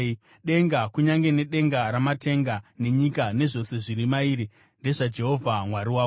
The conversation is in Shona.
Denga, kunyange nedenga ramatenga, nenyika nezvose zviri mairi ndezvaJehovha Mwari wako.